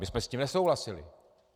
My jsme s tím nesouhlasili.